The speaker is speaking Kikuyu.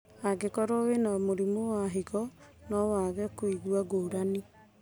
Angĩkorwo wĩna mũrimũ wa higo, no wage kũigua ngũrani